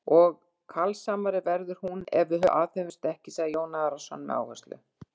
Og kalsamari verður hún ef við aðhöfumst ekkert, svaraði Jón Arason með áherslu.